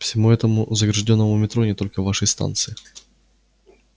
всему этому заграждённому метро не только вашей станции